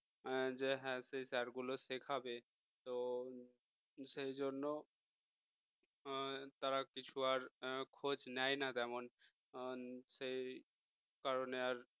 যে হ্যাঁ সেই sir গুলো শেখাবে তো সেই জন্য তারা আর কিছু আর খোঁজ নেয় না তেমন হম সেই কারণে আর